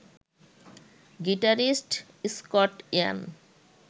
guitarist Scott Ian